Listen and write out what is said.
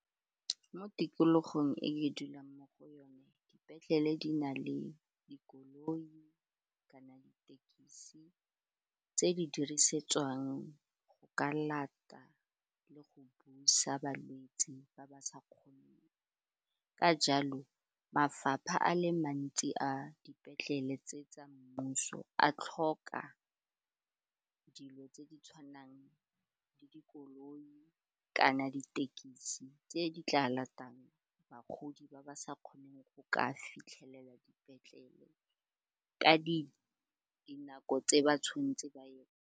Mo tikologong e ke dulang mo go yone dipetlele di na le dikoloi kana ditekisi tse di dirisetswang go ka lata le go busa balwetse ba ba sa kgoneng ka jalo mafapha a le mantsi a dipetlele tse tsa mmuso a tlhoka dilo tse di tshwanang le dikoloi kana ditekisi tse di tla latang bagodi ba ba sa kgoneng go ka fitlhelela dipetlele ka dinako tse ba tshwanetseng ba ye.